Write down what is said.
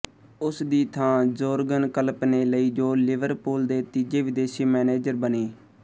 ਉਸ ਦੀ ਥਾਂ ਜੋਰਗਨ ਕਲਪ ਨੇ ਲਈ ਜੋ ਲਿਵਰਪੂਲ ਦੇ ਤੀਜੇ ਵਿਦੇਸ਼ੀ ਮੈਨੇਜਰ ਬਣੇ